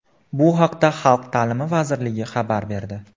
Bu haqda Xalq ta’limi vazirligi xabar berdi.